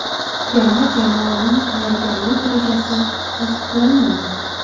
Terma jamoaning tayyorgarlik rejasi tasdiqlandimi?